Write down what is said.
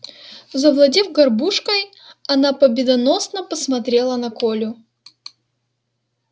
завладев горбушкой она победоносно посмотрела на колю